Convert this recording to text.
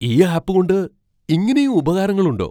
ഈ ആപ്പുകൊണ്ട് ഇങ്ങനെയും ഉപകാരങ്ങളുണ്ടോ!